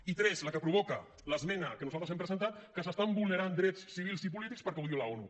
i tres la que provoca l’esmena que nosaltres hem presentat que s’estan vulnerant drets civils i polítics perquè ho diu l’onu